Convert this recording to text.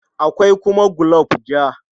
Akwai kuma gulob ja.